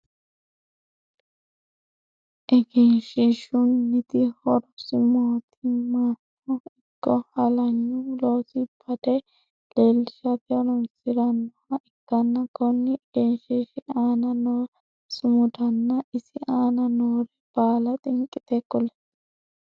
Egenshiishunniti horosi mootimmano ikko halaynu loosi bade leelishate horoonsiranoha ikanna konni egenshiishi aanna noo sumudanna isi aanna noore baalla xinqite kuli?